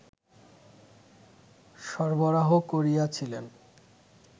সরবরাহ করিয়াছিলেন